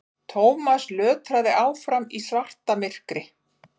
Thomas lötraði áfram í svartamyrkri.